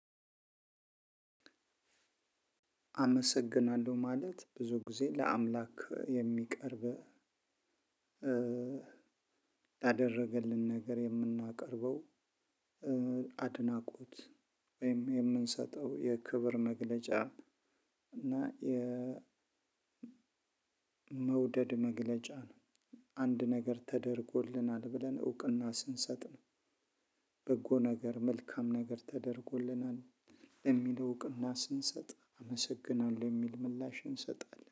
አመሰግናለሁ ማለት ብዙ ጊዜ ለ አምላክ የሚቀርብ ላደረገልን ነገር የምናቀርበው አድናቆት ወይም የምንሰጠው የክብር መግለጫ እና የ መውደድ መግለጫ አንድ ነገር ተደርጎልናል ብለን እውቅና ስንሰጥ ነው። በጎ ነገር መልካም ነገር ተደርጎልናል የሚለው እውቅና ስንሰጥ አመሰግናለሁ የሚል ምላሽ እንሰጣለን